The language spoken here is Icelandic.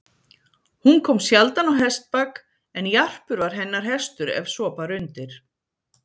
Hún kom sjaldan á hestbak, en Jarpur var hennar hestur ef svo bar undir.